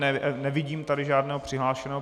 Nevidím tady žádného přihlášeného.